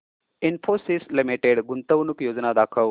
Infosys limited गुंतवणूक योजना दाखव